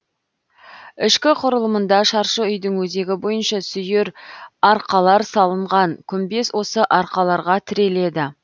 ішкі құрылымында шаршы үйдің өзегі бойынша сүйір арқалар салынған күмбез осы арқаларға тіреледі